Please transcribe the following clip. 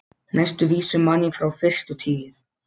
Næstu vísu man ég frá fyrstu tíð.